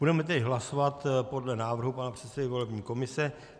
Budeme tedy hlasovat podle návrhu pana předsedy volební komise.